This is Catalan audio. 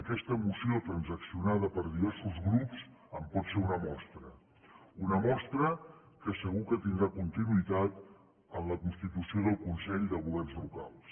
aquesta moció transaccionada per diversos grups en pot ser una mostra una mostra que segur que tindrà continuïtat en la constitució del consell de governs locals